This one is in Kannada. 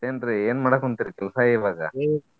ಮತ್ತೆನ್ರೀ ಏನ್ ಮಾಡ್ಕಂತಿರಿ ಕೆಲ್ಸಾ ಇವಾಗ?